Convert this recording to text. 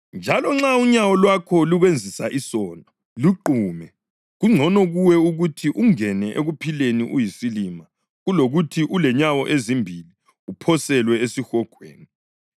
Njalo nxa unyawo lwakho lukwenzisa isono, luqume. Kungcono kuwe ukuthi ungene ekuphileni uyisilima kulokuthi ulenyawo ezimbili uphoselwe esihogweni, [ 46 lapho ‘impethu zakhona ezidlayo zingafi lomlilo ongacitshiyo.’] + 9.46 Livesi ayikho kwamanye amaBhayibhili esiLungu.